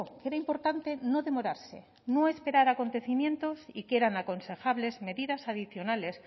que era importante no demorarse no esperar acontecimientos y que eran aconsejables medidas adicionales